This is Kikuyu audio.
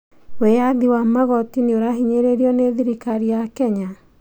Wĩyathi wa magoti nĩũrahinyĩrĩrio nĩ thirikari ya Kenya?